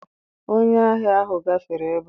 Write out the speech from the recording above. Onye ahia ahụ gafere ebe a.